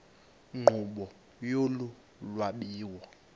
nkqubo yolu lwabiwo